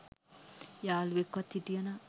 යාළුවෙක්වත් හිටිය නම්